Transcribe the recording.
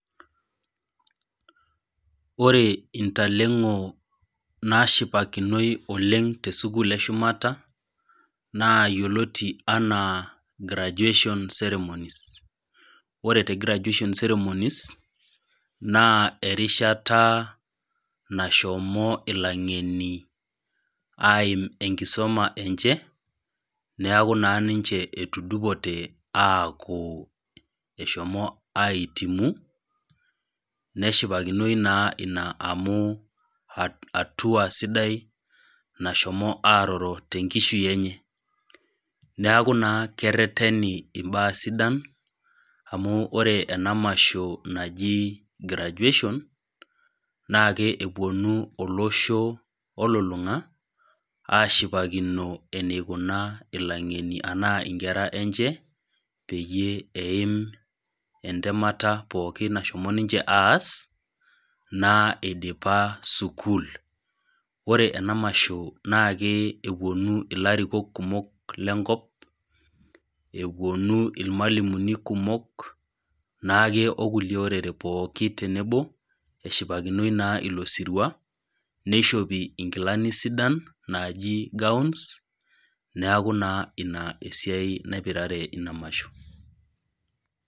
Ore intaleng'o naashipakinoi oleng' too sekuul e shumata, naa yioloti anaa graduation ceremonies. Ore te graduation ceremonies naa erishata nashomo ilaingeni aim enkisuma enye, neaku naa ninche etudupote aaku, eshomo aihitimu neshipakinoi naa ina amu hatua sidai nashomo aaroro te enkishui enye. Neaku naa kereteni imbaa sidan, amu ore ena masho naji graduation naake, epuonu olosho olulung'a ashipakino eneiko ilaing'eni ana inkera enche peyie eim entamata pookin nashomo ninche aas, naa eidipa sukuul. Ore ena masho naake epuonu ilarikok kumok lenkop, epuonu ilmualimuni kumok, naake o kuliue orere naake tenebo naa eshipakinoi ilo sirua neishopi inkilani sidan naaji gawns neaku naa ina esiai sidai naipirare ina masho.